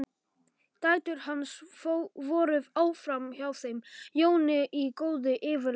Dætur hans voru áfram hjá þeim Jóni í góðu yfirlæti.